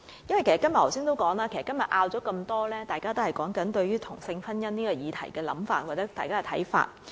正如我剛才所說，今天的許多爭拗均源於大家對同性婚姻這項議題的想法或看法。